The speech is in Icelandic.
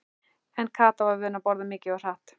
En Kata var vön að borða mikið og hratt.